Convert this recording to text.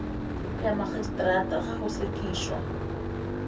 ya magistrata ge go sekišwa